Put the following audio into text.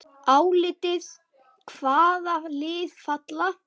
Álitið: Hvaða lið falla?